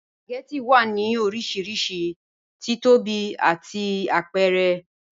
Spagẹttì wà ní orísírísí tíìtọ́bí àti àpẹ̀rẹ̀.